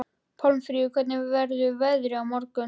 Pálmfríður, hvernig verður veðrið á morgun?